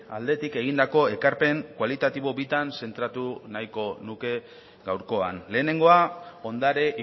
aldetik egindako ekarpen kualitatibo bitan zentratu nahiko nuke gaurkoan lehenengoa ondare